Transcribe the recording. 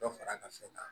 Dɔ fara ka fɛn kan